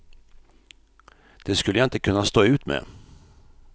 Det skulle jag inte kunna stå ut med.